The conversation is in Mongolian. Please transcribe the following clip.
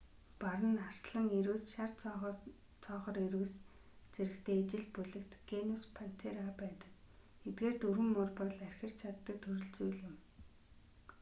бар нь арслан ирвэс шар цоохор ирвэс зэрэгтэй ижил бүлэгт генус пантера байдаг. эдгээр дөрвөн муур бол архирч чаддаг төрөл зүйл юм